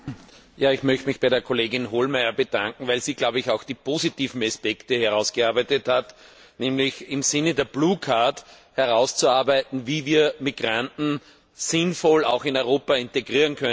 Ich möchte mich bei der Kollegin Hohlmeier bedanken, weil sie auch die positiven Aspekte herausgearbeitet hat, nämlich im Sinne der Blue Card herauszuarbeiten, wie wir Migranten sinnvoll in Europa integrieren können.